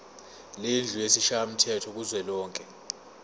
lendlu yesishayamthetho kuzwelonke